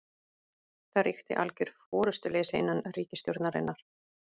Það ríki algjör forystuleysi innan ríkisstjórnarinnar